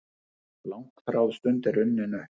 Langþráð stund er runnin upp!